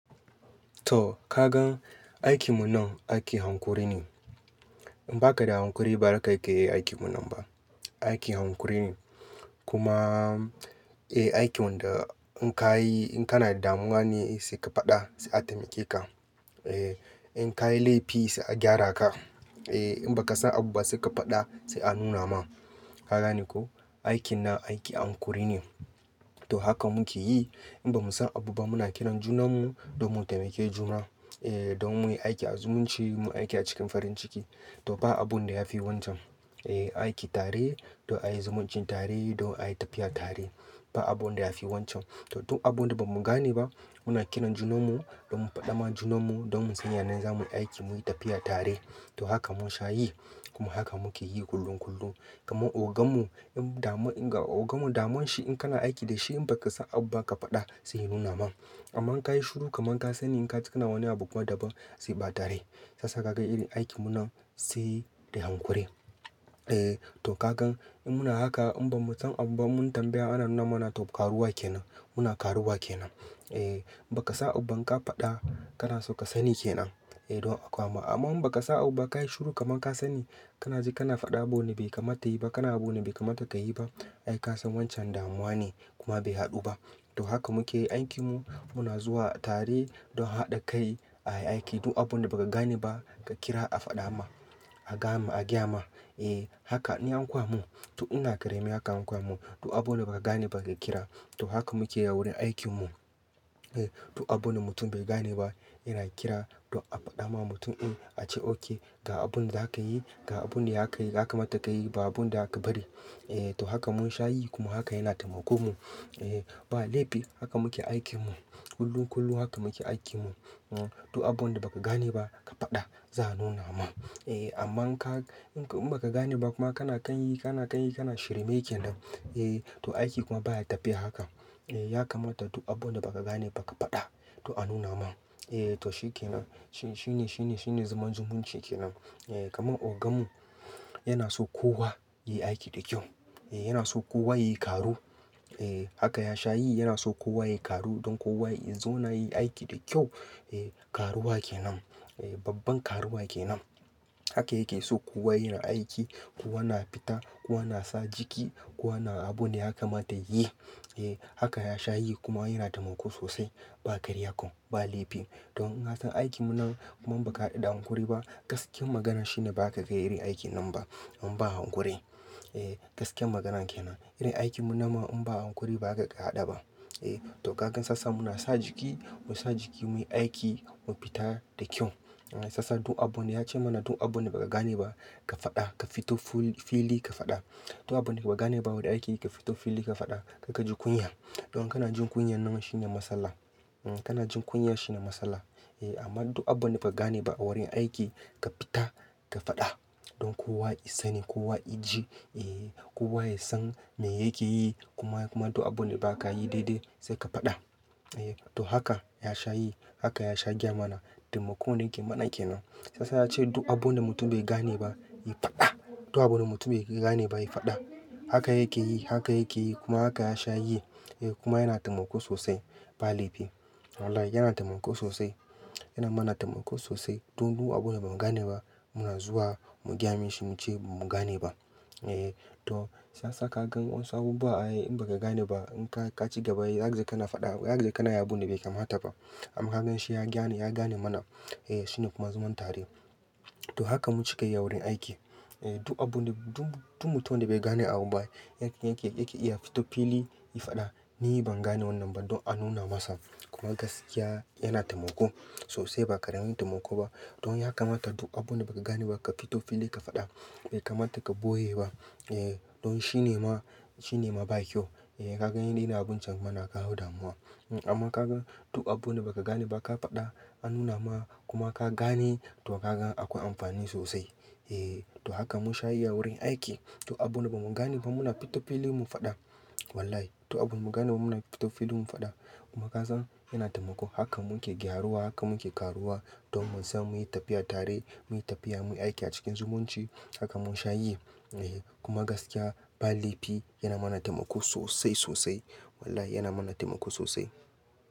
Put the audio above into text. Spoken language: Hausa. To ka gan aikin mu nan aiki hankuri ne. In ba ka da hankuri ba, ba za ka iya yin aikin mu nan ba. Aiki hankuri ne. Kuma, eh aikin wahda ko ka yi, in kana damuwa ne sai ka faɗa sai a taimake ka. Eh in ka yi laifi sai a gyara ka. Eh in ba ka san abu ba sai ka faɗa sai a nuna ma. Ka gane ko, aikin nan aiki hankuri ne. To haka muke yi in ba mu san abu ba muna kira junan mu don mu taimake juna. Eh don muyi aiki azzumunci muyi aiki a cikin farin ciki. To ba abun da ya fi wancan. Eh aiki tare don a yi zumuncin tare don a yi tafiya tare. Ba abun da ya fi wancan. To duk abun da ba mu gane ba muna kira junan mu don mu faɗa ma junan mu don mu san yanayin za muyi aiki muyi tafiya tare. To haka mun sha yi kuma haka muke yi kullum kullum. Kuma ogan mu in damu in ga ogan mu damun shi in kana aiki da shi in ba ka san abu ba ka faɗa sai ya nuna ma. Amma in ka yi shiru kaman ka sani in ka je kana wani abu kuma da ban sai ba tare. Shiya sa ka ga irin aikin mu nan sai da hankuri. Eh to ka gan in muna haka in ban mu san abu ba mun tambaya ana nuna mana to karuwa kenan. Muna karuwa kenan. Eh in ba ka san abu ban ka faɗa kana so ka sani kenan. Eh don a koya ma. Amma in ba ka san abu ba ka yi shiru kaman ka sani kana je kana faɗa ma wane abu da bai kamata ya yi ba kana yin abubuwan da bai kamata ka yi ba. Ai ka san wancan damuwa ne kuma bai haɗu ba. To haka muke yin aikin mu muna zuwa tare don haɗa kai a yi aiki. Duk abun da ba ka gane ba ka kira a faɗa ma. A gaya ma. Eh haka in an koya mun. To ina ƙarami haka an koya mun. Duk abu da ba ka gane ba ka kira. To haka muke yi a wurin aikin mu. Eh duk abune mutum bai gane ba yana kira don a faɗa ma mutum in a ce oke ga abun da za ka yi ga abun da ya kamata ka yi ba abun da aka bari. Eh to haka mun sha yi kuma haka yana taimako mu. Eh ba laifi haka muke aikin mu. Kullum kullum haka muke aikin mu. Duk abun da ba ku gane ba ka faɗa za a nuna ma. Eh amma in ka in ba ka gane ba kuma kana kan yi kana kan yi kana shirme kenan. Eh to aiki kuma baya tafiya haka. Eh ya kamata duk abun da ba ka gane ba ka faɗa to a nuna ma. Eh to shi kenan. Shi shi ne shi ne shi ne zaman zumunci kenan. Eh kamar ogan mu yana so kowa ya yi aiki da kyau. Eh yana so kowa ya yi karuwa. Eh haka ya sha yi yana so kowa ya yi karuwa don kowa ya zauna ya yi aiki da kyau. Eh karuwa kenan. Eh babban karuwa kenan. Haka yake so kowa yana aiki kowa na fita kowa na sa jiki kowa na abun da ya kamata ya yi. Eh haka ya sha yi kuma yana taimako sosai. Ba karya ko ba laifi. Don in na kan aikin mu nan kuma in ba ka hadu da hankuri ba gaskiyar magana shine ba za ka ga irin aikin nan ba. In ba hankuri. Eh gaskiyar magana kenan. Irin aikin mu nan ma in ba hankuri ba zaka ka haɗa ba. Eh to ka gan sassa muna sa jiki mu sa jiki muyi aiki mu fita da kyau. Sassa duk abun da ya ce mana duk abun da ba ka gane ba ka faɗa ka fito fili ka faɗa. Duk abun da ba ka gane ba wurin aiki ka fito fili ka faɗa ka ka ji kunya. Don kana jin kunya nan shine matsala. Kana jin kunya shine matsala. Eh amma duk abun da ba ka gane ba a wurin aiki ka fita ka faɗa don kowa ya sani kowa ya ji. Eh kowa ya san me yake yi kuma kuma to abun da ba ka yi daidai sai ka faɗa. Eh to haka ya sha yi haka ya sha gaya mana taimakon da yake mana kenan. Shiyasa a ce duk abun da mutum bai gane ba ya faɗa. Duk abun da mutum bai gane ba ya faɗa. Haka yake yi haka yake yi kuma haka ya sha yi. Eh kuma yana taimako sosai. Ba laifi. Wallahi yana taimako sosai. Yana mana taimako sosai. Don duk abun da ba mu gane ba muna zuwa mu gyami shi muce ba mu gane ba. Eh to siasa ka gan wasu abu ba ai in ba ka gane ba in ka ka ci gaba zaka gane kana faɗa za ka gane kana yi abune da bai kamata taɓa. Har in shi ya gane ya gane mana. Eh shine kuma zaman tare. To haka mu cika yi a wurin aiki. Eh duk abun da duk duk mutum da bai gane abu ba yake yake yake iya fito fili ya faɗa ni ban gane wannan ba don a nuna masa. Kuma gaskiya yana taimako sosai ba ƙaramin taimako ba. Don ya kamata duk abun da ba ka gane ba ka fito fili ka faɗa. Bai kamata ka boye ba. Eh don shi ne ma shi ne ma ba kyau. Eh ka gan irin abun can kuma na kawo damuwa. Amma ka gan duk abun da ba ka gane ba ka faɗa an nuna ma kuma ka gane to ka gan akwai amfani sosai. Eh to haka mun sha yi wurin aiki. To abun da ba mu gane ba muna fito fili mu faɗa. Wallahi to abun mu gane ba muna fito fili mu faɗa. Kuma ka san yana taimako haka muke gyaruwa haka muke karuwa don mu san muyi tafiya tare muyi tafiya muyi aiki a cikin zumunci haka mun sha yi. Eh kuma gaskiya ba laifi yana mana taimako sosai sosai. Wallahi yana mana taimako sosai.